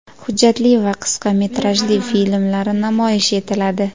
hujjatli va qisqa metrajli filmlari namoyish etiladi.